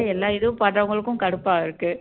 எல்லா இதுவும் பாத்தவங்களுக்கும் கடுப்பா இருக்கு